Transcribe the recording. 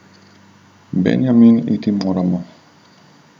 Benjamin, iti moramo.